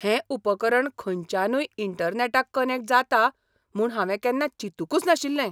हें उपकरण खंयच्यानूय इंटरनॅटाक कनॅक्ट जाता म्हूण हांवें केन्ना चिंतुकूच नाशिल्लें.